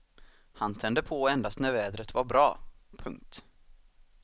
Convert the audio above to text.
Han tände på endast när vädret var bra. punkt